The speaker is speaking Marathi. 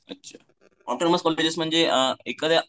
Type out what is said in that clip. अच्छा ऑटोनॉमस कॉलेज म्हणजे एखाद्या